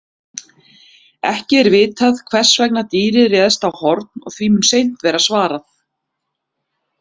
Ekki er vitað hvers vegna dýrið réðst á Horn og því mun seint verða svarað.